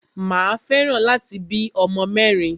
Mà a fẹ́ràn láti bí ọmọ mẹ́rin.